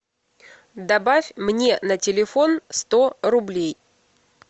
добавь мне на телефон сто рублей